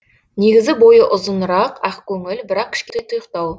негізі бойы ұзынырақ ақкөңіл бірақ кішкене тұйықтау